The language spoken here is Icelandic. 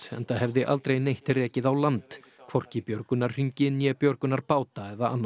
enda hefði aldrei neitt rekið á land hvorki björgunarhringi né björgunarbáta eða annað